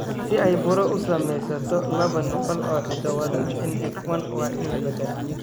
Si ay buro u samaysato, laba nuqul oo hiddo-wadaha NF1 waa in la beddelaa.